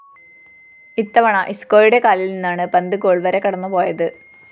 ഇത്തവണ ഇസ്‌ക്കോയുടെ കാലില്‍ നിന്നാണ് പന്ത് ഗോൾ വര കടന്നുപോയത്